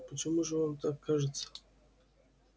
почему же вам так кажется